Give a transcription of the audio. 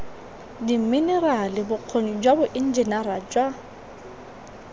diminerale bokgoni jwa boenjiniri jwa